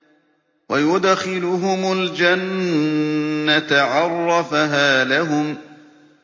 وَيُدْخِلُهُمُ الْجَنَّةَ عَرَّفَهَا لَهُمْ